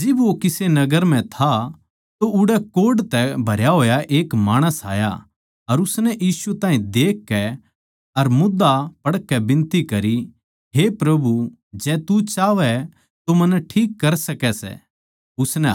जिब वो किसे नगर म्ह था तो उड़ै कोढ़ तै भरया होया एक माणस आया अर उसनै यीशु ताहीं देखकै अर मोध्धा पड़कै बिनती करी हे प्रभु जै तू चाहवै तो मन्नै ठीक कर सकै सै